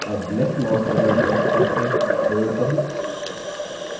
अब left mouse button press करके hold करें